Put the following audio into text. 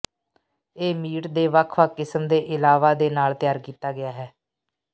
ਇਹ ਮੀਟ ਦੇ ਵੱਖ ਵੱਖ ਕਿਸਮ ਦੇ ਇਲਾਵਾ ਦੇ ਨਾਲ ਤਿਆਰ ਕੀਤਾ ਗਿਆ ਹੈ